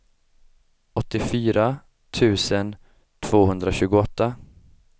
åttiofyra tusen tvåhundratjugoåtta